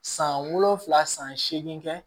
San wolonwula san seegin kɛ